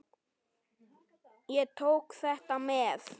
Ég tók þetta með.